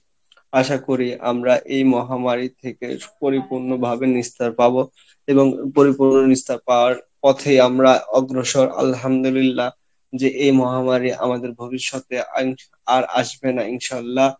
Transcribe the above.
আশা করি আমরা এই মহামারী থেকে পরিপূর্ণ ভাবে নিস্তার পাবো এবং পরিপূর্ণ নিস্তার পাওয়ার পথেই আমরা অগ্রসর আলহামদুলিল্লাহ যে এই মহামারী আমাদের ভবিষ্যতে আর আসবে না ইনশাল্লাহ